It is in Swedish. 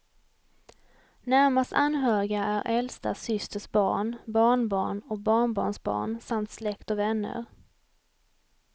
Närmast anhöriga är äldsta systers barn, barnbarn och barnbarnsbarn samt släkt och vänner.